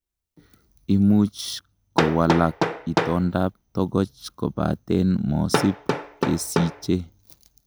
Imuch kowalak itondab tokoch kobaten mosib kesiche.